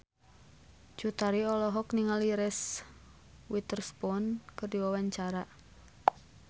Cut Tari olohok ningali Reese Witherspoon keur diwawancara